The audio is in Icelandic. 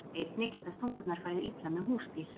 Einnig geta stungurnar farið illa með húsdýr.